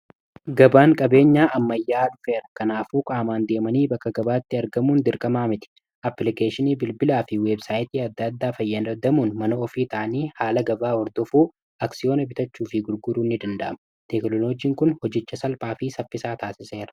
gabaan qabeenyaa ammayyaa dhufeer kanaafuuqaamaan deemanii bakka gabaatti argamuun dirqamaa miti applikeeshinii bilbilaa fi weebsaayitii adda addaa fayyanadamuun manoo ofii taanii haala gabaa hordofuu aksiyoona bitachuu fi gurguruu ni danda'ama teeklolojiin kun hojecha salphaa fii saffisaa taasiseera